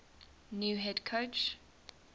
new head coach